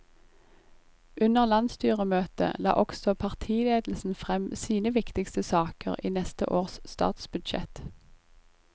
Under landsstyremøtet la også partiledelsen frem sine viktigste saker i neste års statsbudsjett.